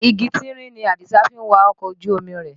Igi tínrín ni Àdìsá fi ń wa ọkọ̀ ojú omi rẹ̀.